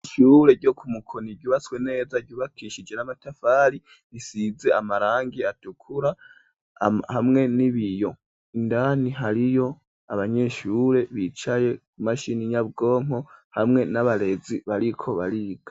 Ishure ryo ku Mukoni, ryubatswe neza, ryubakishije n'amatafari, risize amarangi, atukura, hamwe n'ibiyo; indani, hariyo abanyeshure, bicaye ku mashini nyabwonko, hamwe n'abarezi, bariko bariga.